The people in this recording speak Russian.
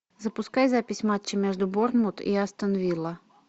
запускай запись матча между борнмут и астон вилла